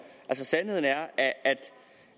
sandheden er at er